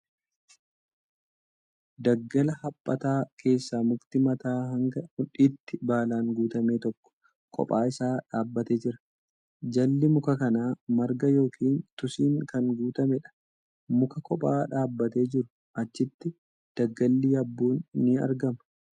Daggala haphataa keessa mukti mataa hanga mudhiitti baalan guutame tokko kophaa isaa dhaabbatee jira. Jalli muka kanaa marga yookin tusiin kan guutameedha. Muka kophaa dhaabatee jiruu. Achitti daggalli yabbuun ni argama.